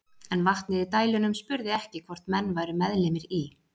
En vatnið í dælunum spurði ekki hvort menn væru meðlimir í